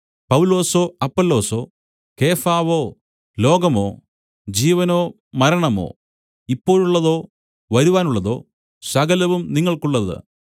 പൗലൊസോ അപ്പൊല്ലോസോ കേഫാവോ ലോകമോ ജീവനോ മരണമോ ഇപ്പോഴുള്ളതോ വരുവാനുള്ളതോ സകലവും നിങ്ങൾക്കുള്ളത്